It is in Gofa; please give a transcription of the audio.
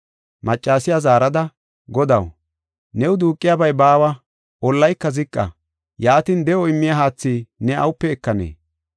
Maccasiya zaarada, “Godaw, new duuqiyabay baawa; ollayka ziqa. Yaatin, de7o immiya haathi ne awupe ekanee?